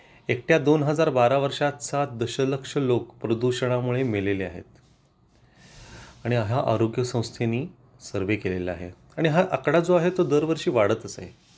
एकट्या दोन हजार बराहा वर्षात सात दशलक्ष लोक प्रदूषणा मुळे मेलेले आहेत आणि हा आरोग्य संस्थेनी सर्वे केलेला आहे आणि हा आकडा जो आहे तो दरवर्षी वाढंतच आहे